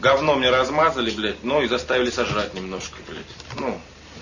гавно мне размазали блять но и заставили сожрать немножко блять ну